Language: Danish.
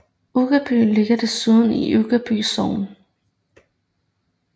Uggerby ligger desuden i Uggerby Sogn